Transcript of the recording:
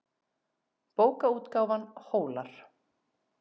Bókaútgáfan Hólar.